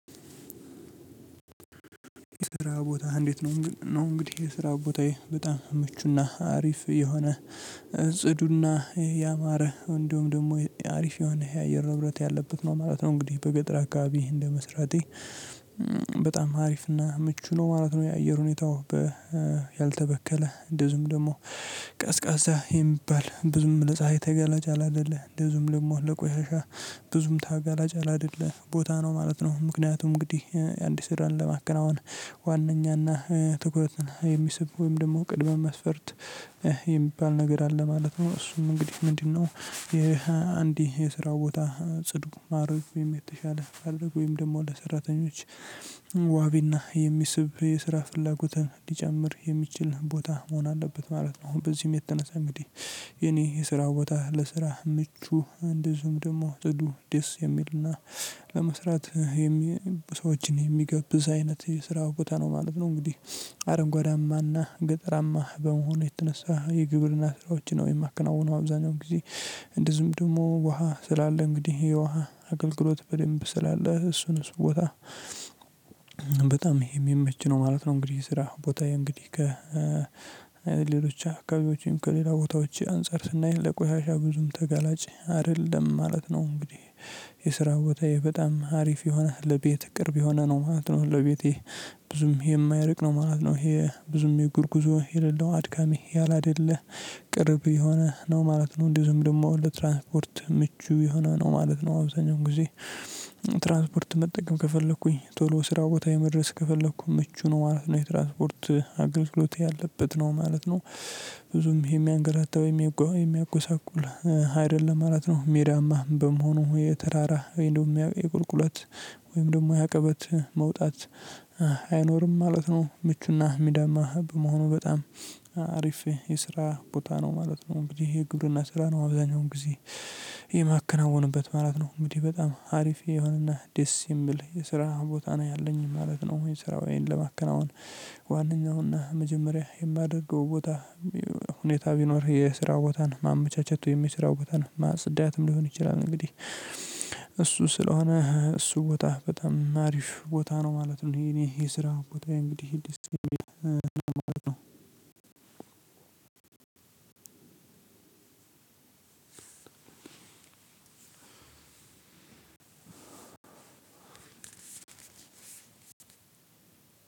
ስራ ቦታህ እንዴት ነው? ነው እንግዲህ የስራ ቦታዬ በጣም ምቹና አሪፍ የሆነ ጽዱና ያማረ እንዲሁም ደግሞ አሪፍ የሆነ የአየር ንብረት ያለበት ነውማለት ነው። እንግዲህ በገጠር አካባቢ እንደመስራቴ በጣም አሪፍና ምቹ ነው ማለት ነው። የአየር ሁኔታው ያልተበከለ፤ እንደዚሁም ደግሞ ቀዝቃዛ የሚባል ብዙም ለፀሀይ ተጋላጭ ያላይደለ፤ እንደዚሁም ደግሞ ለቆሻሻ ብዙም ታጋላጭ ያላይደለ ቦታ ነው ማለት ነው። ምክንያቱም እንግዲህ አንድ ስራን ለማከናወን ዋናኛና ትኩረትን የሚስብ ወይም ደግሞ ቅድመ መስፈርት የሚባል ነገር አለ ማለት ነው። እሱም እንግዲህ ምንድነው ይሄ አንድ የስራ ቦታ ጽዱ ማድረግ ወይም የተሻለ ማድረግ ወይም ደግሞ ለሰራተኞች ዋቢና የሚስብ የስራ ፍላጎትን ሊጨምር የሚችል ቦታ መሆን አለበት ማለት ነው። አሁን በዚህም የተነሳ እንግዲህ የኔ የስራ ቦታ ለስራ ምቹ እንደዚሁም ደግሞ ጽዱ ደስ የሚልና ለመስራት ሰዎችን የሚጋብዝ አይነት የስራ ቦታ ነው ማለት ነው። እንግዲህ አረንጓዳማና ገጠራማ በመሆኑ የተነሳ የግብርና ስራዎችን ነው የማከናውነው አብዛኛው ጊዜ። እንደዚሁም ደግሞ ውሃ ስላለ እንግዲህ የውሃ አገልግሎት በደንብ ስላለ እሱን እሱ ቦታ በጣም የሚመች ነው ማለት ነው። እንግዲህ የስራ ቦታዬ እንግዲህ ከሌሎች አካባቢዎችም ከሌላ ቦታዎች አንፃር ስናይ ለቆሻሻ ብዙም ተጋላጭ አይደለም ማለት ነው እንግዲህ። የስራ ቦታዬ በጣም አሪፍ የሆነ ለቤት ቅርብ የሆነ ነው ማለት ነው ለቤቴ ብዙም የማያርቅ ነው ማለት ነው። ይሄ ብዙም የእግር ጉዞ የሌለው፤ አድካሚ ያላደለ፤ ቅርብ የሆነ ነው ማለት ነው። እንደዚሁም ደግሞ ለትራንስፖርት ምቹ የሆነ ነው ማለት ነው አብዛኛውኔ ጊዜ። ትራንስፖርት መጠቀም ከፈለኩኝ ቶሎ ስራ ቦታዬ መድረስ ከፈለኩም ምቹ ነው ማለት ነው። የትራንስፖርት አገልግሎት ያለበት ነው ማለት ነው። ብዙም የሚያንገላታ ወይም የሚያጎሳቁል አይደለም ማለት ነው። ሜዳማ በመሆኑ የተራራ ወይም ደግሞ የቁልቁለት ወይም ደግሞ የአቀበት መውጣት አይኖርም ማለት ነው። ምቹና ሜዳማ በመሆኑ በጣም አሪፍ የስራ ቦታ ነው ማለት ነው። እንግዲህ የግብርና ስራ ነው አብዛኛውን ጊዜ የማከናውንበት ማለት ነው። እንግዲህ በጣም አሪፍ የሆነና ደስ የሚል የስራ ቦታ ነው ያለኝ ማለት ነው። ስራዬን ለማከናወን ዋናኛውና መጀመሪያ የማደርገው ቦታ ሁኔታ ቢኖር የስራ ቦታን ማመቻቸቱ፤ የሚሰራው ቦታን ማጽዳትም፤ ሊሆን ይችላል እንግዲህ እሱ ስለሆነ እሱ ቦታ በጣም አሪፍ ቦታ ነው ማለት ነው። የእኔ የስራ ቦታዬ እንግዲህ ደስ የሚል ቦታ ነው ማለት ነው። ሁለት ሶስት አራት አምስት ስድስት ሰባት ስምንት ዘጠኝ አስር